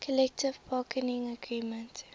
collective bargaining agreement